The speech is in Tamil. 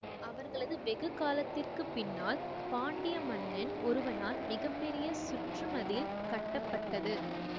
அவர்களது வெகு காலத்திற்கு பின்னால் பாண்டியமன்னன் ஒருவனால் மிக பெரிய சுற்றுமதில் கட்டப்பட்டது